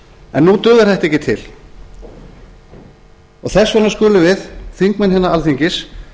en nú dugar þetta ekki til og þess vegna skulum við þingmenn innan alþingis